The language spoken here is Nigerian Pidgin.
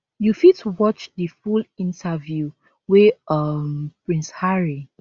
you fit watch di full interview wey um prince harry